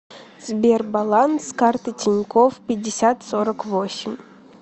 сбер баланс карты тинькофф пятьдесят сорок восемь